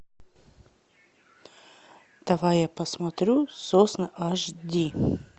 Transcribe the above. давай я посмотрю сосны аш ди